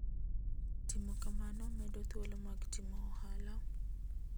Timo kamano medo thuolo mag timo ohala.